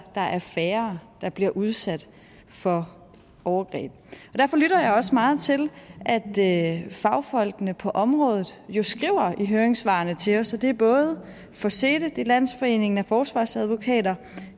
der er færre der bliver udsat for overgreb derfor lytter jeg også meget til at fagfolkene på området jo skriver i høringssvarene til os og det er både forsete det er landsforeningen af forsvarsadvokater